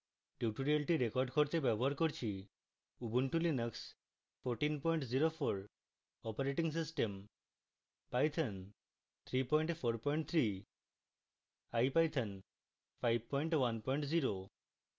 tutorial record করতে ব্যবহার করছি: